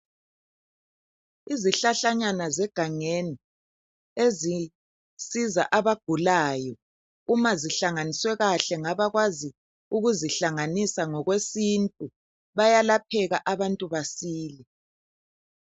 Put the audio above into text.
Izihlahlanyana zegangeni ezisiza abagulayo uma zihlanganiswe kahle ngabakwaziyo ukuzihlanganisa ngokwesintu, bayalapheka abantu basile.